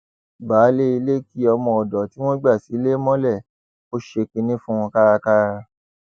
baálé ilé kí ọmọọdọ tí wọn gbà sílẹ mọlẹ ó ṣe kinní fún un kárakára